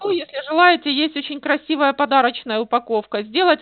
ну если желаете есть очень красивая подарочная упаковка сделать